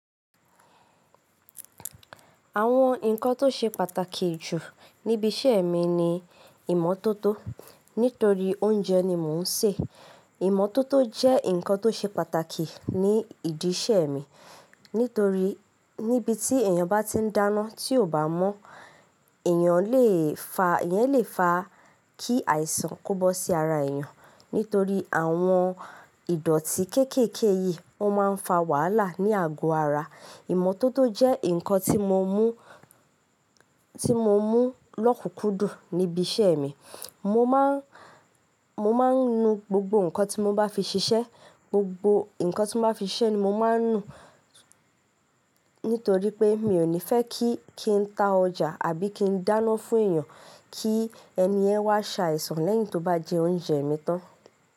Àwọn nǹkan tó ṣe pàtàkì jù níbi iṣẹ́ mi ni ìmọ́tótó. Nítorí oúnjẹ ni mò ń ṣe, ìmọ́tótó jẹ́ nǹkan tó ṣe pàtàkì ní ìdí iṣẹ́ mi. Nítorí níbi tí èèyàn bá ti ń dáná tí ò bá mọ̀, èèyàn lè fa, èèyàn lè fa kí àìsàn kó bó sí ara èèyàn. Nítorí àwọn ìdọ̀tí kéékèèké yìí ó máa ń fa wàhálà ní àgọ́ ara. Ìmọ́tótó jẹ́ nǹkan tí mo mú, tí mo mú lọ́kùnkúndùn níbi iṣẹ́ mi. Mo má ń, mo má ń nu gbogbo nǹkan tí mo bá fi ṣiṣẹ́. Gbogbo nǹkan tí mo bá fi ṣiṣẹ́ ni mo máa ń nu, nítorí pé mi ò ní fẹ́ kí, kí n tá ọjà àbí kí n dáná fún èèyàn kí ẹni yẹn wá ṣàìsàn lẹ́yìn tó bá jẹ oúnjẹ mi tán.